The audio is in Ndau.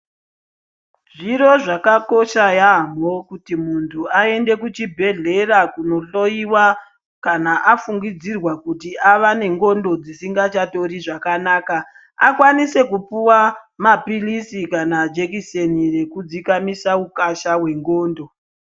Zviro zvakakosha yaemho kuti muntu aende kuchibhedhlera kunohloyiwa kana afungidzirwa kuti ava nendxondo dzisingachatori zvakanaka akwanise kupuwa mapilisi kana jekiseni rokudzikamisa ukasha hwendxondo.